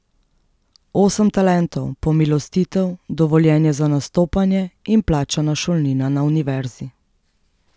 Osem talentov, pomilostitev, dovoljenje za nastopanje in plačana šolnina na Univerzi.